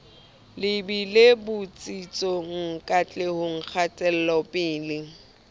lebile botsitsong le katlehong kgatelopele